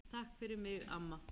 Takk fyrir mig, amma.